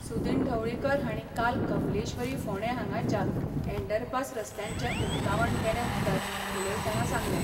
सुदीन ढवळीकर हांणी काल कपिलेश्वरी फोंडे हांगाच्या अँडरपास रस्त्यांचे उक्तावण केले उपरांत उलयताना सांगले.